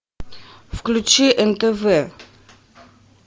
включи нтв